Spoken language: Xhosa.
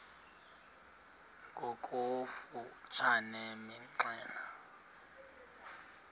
ngokofu tshane imxelele